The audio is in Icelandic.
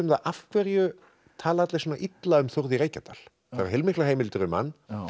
af hverju tala allir svona illa um Þórð í Reykjadal heilmiklar heimildir um hann